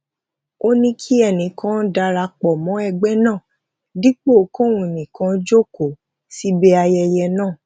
ó ní kí ẹnì kan dara pò mó ẹgbẹ náà dípò kóun nìkan jókòó síbi ayẹyẹ náà